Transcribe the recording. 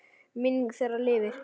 Minning þeirra lifir.